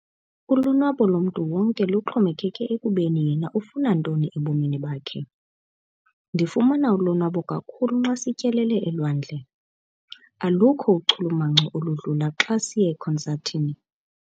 Ulonwabo lomntu wonke luxhomekeke ekubeni yena ufuna ntoni ebomini bakhe. ndifumana ulonwabo kakhulu xa sityelele elwandle, alukho uchulumanco oludlula xa siye ekonsathini